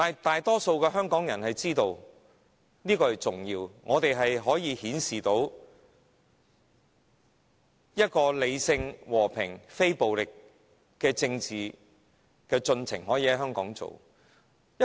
大多數的香港人明白和平地提出訴求是很重要的，顯示出理性、和平、非暴力的政治進程可以在香港實行。